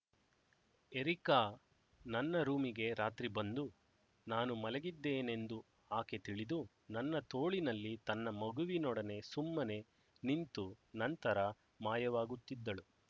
areca ನನ್ನ ರೂಮಿಗೆ ರಾತ್ರಿ ಬಂದು ನಾನು ಮಲಗಿದ್ದೇನೆಂದು ಆಕೆ ತಿಳಿದು ನನ್ನ ತೋಳಿನಲ್ಲಿ ತನ್ನ ಮಗುವಿನೊಡನೆ ಸುಮ್ಮನೆ ನಿಂತು ನಂತರ ಮಾಯವಾಗುತ್ತಿದ್ದಳು